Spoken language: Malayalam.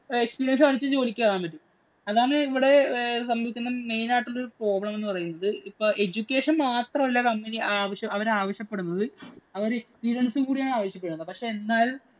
Experience കാണിച്ചു ജോലിക്ക് കയറാന്‍ പറ്റും. അതാണ് ഇവിടെ main ആയിട്ടൂള്ള problem എന്ന് പറയുന്നത്. ഇപ്പം education മാത്രമല്ല അവര് ആവശ്യപ്പെടുന്നത്. അവര് experience കൂടി ആണ് ആവശ്യപ്പെടുന്നത്. പക്ഷേ, എന്നാല്‍